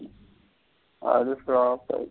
அது flop ஆகிரிச்சி.